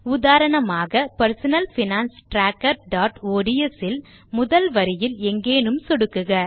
உதாரணமாக personal finance trackerஒட்ஸ் இல் முதல் வரியில் எங்கேனும் சொடுக்குக